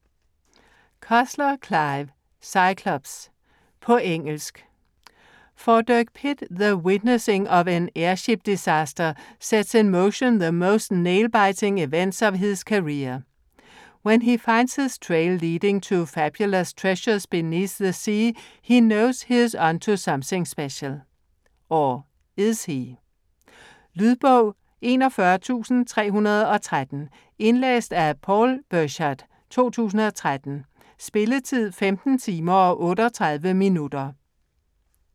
Cussler, Clive: Cyclops På engelsk. For Dirk Pitt, the witnessing of an airship disaster sets in motion the most nail-biting events of his career. When he finds his trail leading to fabulous treasure beneath the sea he knows he is on to something special. Or is he? Lydbog 41313 Indlæst af Paul Birchard, 2013. Spilletid: 15 timer, 38 minutter.